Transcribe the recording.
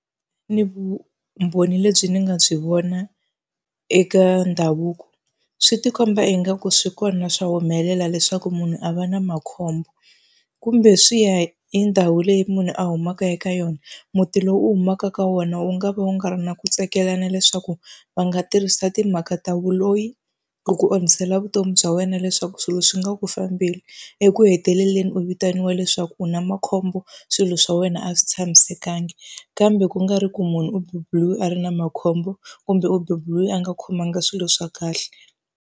Ni vumbhoni lebyi ni nga byi vona eka ndhavuko swi ti komba ingaku swi kona swa humelela leswaku munhu a va na makhombo, kumbe swi ya hi ndhawu leyi munhu a humaka eka yona. Muti lowu u humaka ka wona wu nga va wu nga ri na ku tsakela na leswaku va nga tirhisa timhaka ta vuloyi loko onhisela vutomi bya wena leswaku swilo swi nga ku fambeli, eku heteleleni u vitaniwa leswaku u na makhombo swilo swa wena a swi tshamisekanga. Kambe ku nga ri ku munhu u beburiwe a ri na makhombo kumbe u beburiwe a nga khomanga swilo swa kahle.